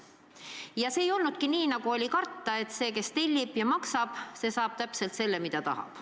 Ja see analüüs ei olnudki niisugune, nagu oli karta: et see, kes tellib ja maksab, saab täpselt selle, mida tahab.